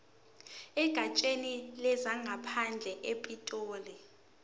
egatsheni lezangaphandle epitoli